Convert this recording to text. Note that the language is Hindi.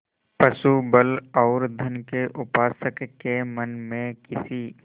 पशुबल और धन के उपासक के मन में किसी